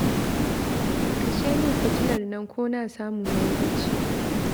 Kashe min fitilar nan ko na samu na yi bacci